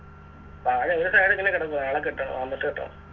താഴെ ഒര് Tyre ഇങ്ങനെ കെടക്കുവാ നാളെ കെട്ടണം വന്നിട്ട് കെട്ടണം